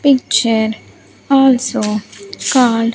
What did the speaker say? Picture also called.